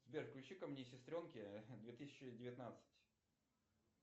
сбер включика мне сестренки две тысячи девятнадцать